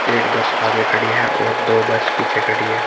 एक बस आगे खड़ी है और दो बस पीछे खड़ी हैं।